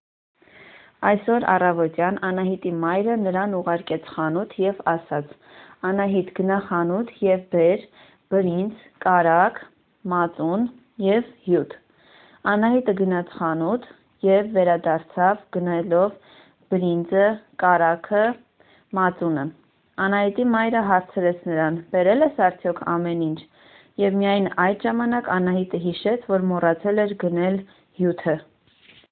Այսօր առավոտյան Անահիտի մայրը նրան ուղարկեց խանութ և ասաց: Անահիտ գնա խանութ և բեր բրինձ, կարագ ,մածուն և հյութ ։ Անահիտը գնաց խանութ և վերադարձավ գնելով ՝ բրինձը ,կարագը, մածունը ։ Անահիտի մայրը հարցրեց նրան ։ Բերել ես արդյոք ամեն ինչ? և միայն այդ ժամանակ Անահիտը հիշեց որ մոռացել էր գնել հյութը ։